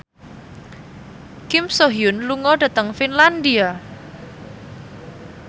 Kim So Hyun lunga dhateng Finlandia